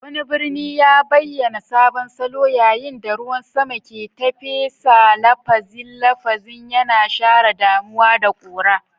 Wani birni ya bayyana sabon salo yayin da ruwan sama ke tafe bisa lafazin lafazin, yana share damuwa da ƙura.